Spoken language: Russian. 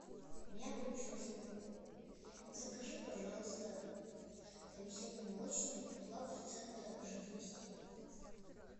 у меня кончилось молоко закажи пожалуйста веселый молочник два процента жирности